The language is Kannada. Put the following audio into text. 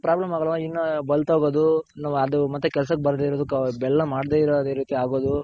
problem ಆಗಲ್ಲ ಇನ್ನು ಬಲ್ತೊಗೋದು ಇನ್ನು ಅದು ಮತ್ತೆ ಕೆಲಸಕ್ಕೆ ಬರ್ದೇ ಇರೋದು ಬೆಲ್ಲ ಮಾಡ್ದೆ ಇರೋ ರೀತಿ ಆಗೋದು.